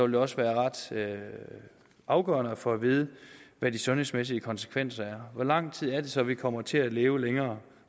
det også være ret afgørende at få at vide hvad de sundhedsmæssige konsekvenser er hvor lang tid er det så vi kommer til at leve længere